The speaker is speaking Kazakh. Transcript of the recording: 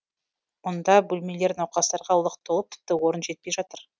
мұнда бөлмелер науқастарға лық толып тіпті орын жетпей жатыр